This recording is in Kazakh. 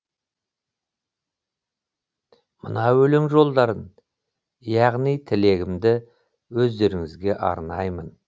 мына өлең жолдарын яғни тілегімді өздеріңізге арнаймын